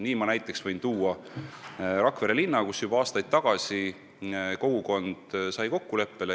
Ma võin näiteks tuua Rakvere linna, kus juba aastaid tagasi kogukond jõudis kokkuleppele.